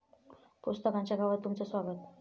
पुस्तकांच्या गावात तुमचं स्वागत